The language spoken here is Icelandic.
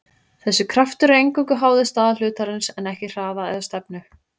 þessi kraftur er eingöngu háður stað hlutarins en ekki hraða eða stefnu